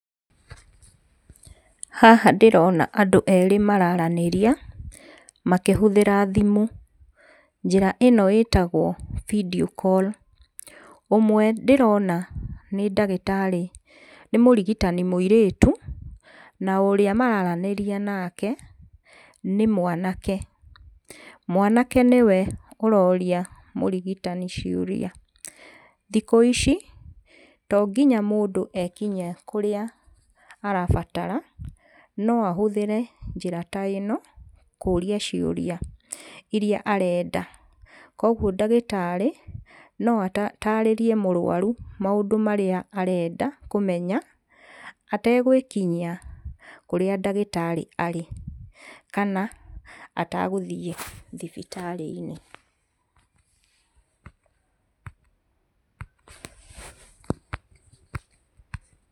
Haha ndĩrona andũ erĩ mararanĩria makĩhũthĩra thimũ, njĩra ĩno ĩtagwo video call. Ũmwe ndĩrona nĩ ndagĩtarĩ nĩ mũrigitani mũirĩtu, na ũrĩa mararanĩria nake nĩ mwanake. Mwanake nĩwe ũroria mũrigitani ciũria. Thikũ ici to nginya mũndũ ekinyie kũrĩa arabatara no ahũthĩre njĩra ta ĩno kũria ciũria iria arenda. Koguo ndagĩtarĩ no atarĩrie mũrwaru maũndũ marĩa arenda kũmenya, ategwĩkinyia kũrĩa ndagĩtarĩ arĩ kana atagũthiĩ thibitarĩ-inĩ.